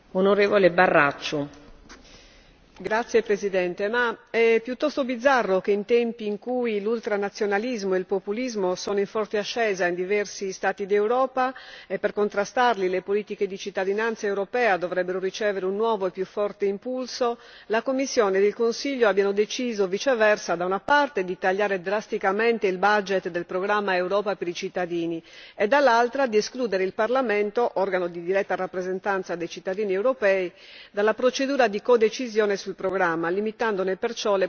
Signora Presidente, è piuttosto bizzarro che, in tempi in cui l'ultranazionalismo e il populismo sono in forte ascesa in diversi Stati d'Europa e per contrastarli le politiche di cittadinanza europea dovrebbero ricevere un nuovo e più forte impulso, la Commissione e il Consiglio abbiano deciso viceversa, da una parte, di tagliare drasticamente il del programma Europa per i cittadini e, dall'altra, di escludere il Parlamento organo di diretta rappresentanza dei cittadini europei dalla procedura di codecisione sul programma, limitandone perciò le possibilità d'intervento.